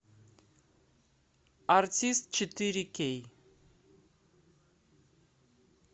артист четыре кей